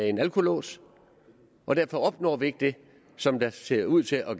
en alkolås og derfor opnår vi ikke det som der ser ud til at